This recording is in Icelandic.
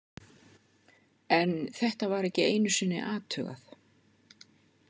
En þetta var ekki einu sinni athugað.